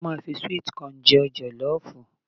A máa ń fi sweet kọọ̀nù se jọ̀lọ́ọ̀fù